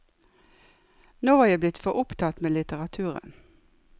Nå var jeg blitt for opptatt med litteraturen.